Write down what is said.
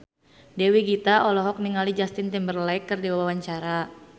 Dewi Gita olohok ningali Justin Timberlake keur diwawancara